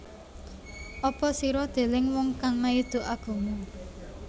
Apa sira deleng wong kang maido agama